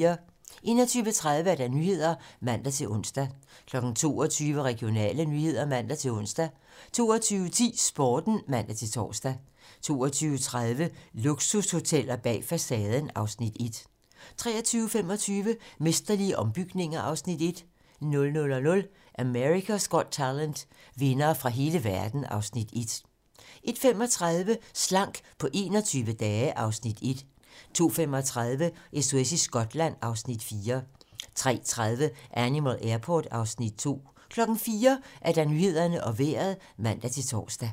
21:30: 21:30 Nyhederne (man-ons) 22:00: Regionale nyheder (man-ons) 22:10: Sporten (man-tor) 22:30: Luksushoteller bag facaden (Afs. 1) 23:25: Mesterlige ombygninger (Afs. 1) 00:00: America's Got Talent - vindere fra hele verden (Afs. 1) 01:35: Slank på 21 dage (Afs. 1) 02:35: SOS i Skotland (Afs. 4) 03:30: Animal Airport (Afs. 2) 04:00: Nyhederne og Vejret (man-tor)